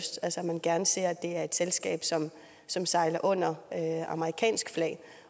man gerne ser at det er et selskab som sejler under amerikansk flag